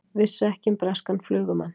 Vissu ekki um breskan flugumann